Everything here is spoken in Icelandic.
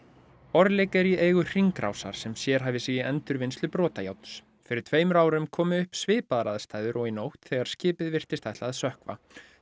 orlik er í eigu Hringrásar sem sérhæfir sig í endurvinnslu brotajárns fyrir tveimur árum komu upp svipaðar aðstæður og í nótt þegar skipið virtist ætla að sökkva